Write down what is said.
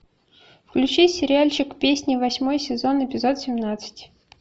включи сериальчик песни восьмой сезон эпизод семнадцать